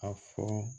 A fɔ